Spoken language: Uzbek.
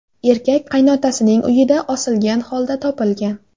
Erkak qaynotasining uyida osilgan holda topilgan.